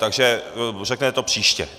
Takže to řeknete příště.